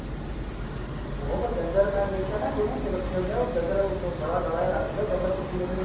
ਉਹ ਤਾਂ ਡੰਗਰ ਮੈਂ ਦੇਖਿਆ ਕਈਆਂ ਨੇ ਰੱਖ਼ੇ ਹੁੰਦੇ ਆਂ ਉਹ ਡੰਗਰ ਬੜਾ ਡਲਾਂ ਜਾਂ ਰੱਖ ਦਿੰਨੇ ਏ ਡੰਗਰ ਚੱਟੀ ਜਾਂਦੇ ਸੀ